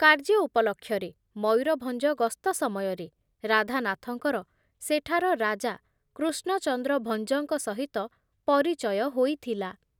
କାର୍ଯ୍ୟ ଉପଲକ୍ଷରେ ମୟୂରଭଞ୍ଜ ଗସ୍ତ ସମୟରେ ରାଧାନାଥଙ୍କର ସେଠାର ରାଜା କୃଷ୍ଣଚନ୍ଦ୍ର ଭଞ୍ଜଙ୍କ ସହିତ ପରିଚୟ ହୋଇଥିଲା ।